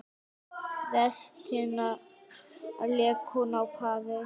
Restina lék hún á pari.